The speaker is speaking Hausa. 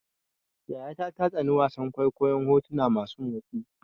Yayata ta tsani wasan kwaikwayon hotuna masu motsi.